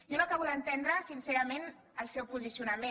jo no acabo d’entendre sincerament el seu posicionament